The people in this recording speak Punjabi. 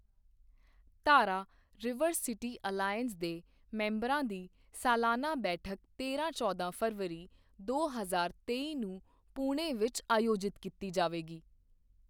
ਧਾਰਾ ਰਿਵਰ ਸਿਟੀ ਅਲਾਇੰਸ ਦੇ ਮੈਂਬਰਾਂ ਦੀ ਸਾਲਾਨਾ ਬੈਠਕ ਤੇਰਾਂ ਚੌਦਾਂ ਫਰਵਰੀ, ਦੋ ਹਜ਼ਾਰ ਤੇਈ ਨੂੰ ਪੁਣੇ ਵਿੱਚ ਆਯੋਜਿਤ ਕੀਤੀ ਜਾਵੇਗੀ